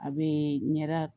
A bee ɲɛda